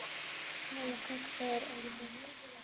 Helga: Hver er bestur?